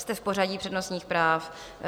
Jste v pořadí přednostních práv.